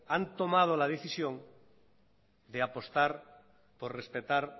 han tomado la decisión de apostar por respetar